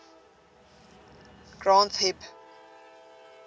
granth hib